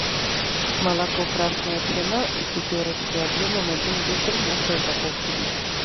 молоко красная цена из пятерочки объемом один литр в мягкой упаковке